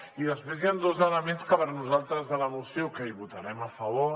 i després hi han dos elements per nosaltres de la moció que hi votarem a favor